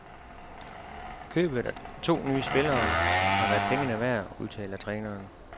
Købet af to nye spillere har været pengene værd, udtaler træneren.